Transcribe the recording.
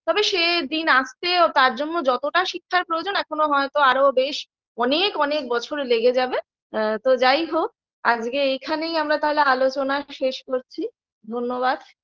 তবে সেদিন আসতেও তার জন্য যতটা শিক্ষার প্রয়োজন এখনো হয়তো আরও বেশ অনেক অনেক বছর লেগে যাবে তো যাই হোক আজকে এখানেই আমরা তাহলে আলোচনা শেষ করছি ধন্যবাদ